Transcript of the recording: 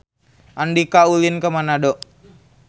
Andika ulin ka Manado